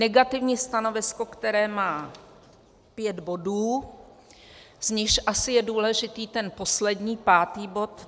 Negativní stanovisko, které má pět bodů, z nichž asi je důležitý ten poslední, pátý bod.